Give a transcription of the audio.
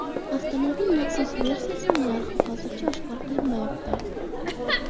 Avtomobil maxsus versiyasining narxi hozircha oshkor qilinmayapti.